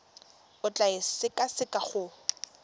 o tla e sekaseka go